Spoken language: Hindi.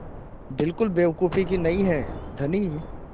बिल्कुल बेवकूफ़ी नहीं है धनी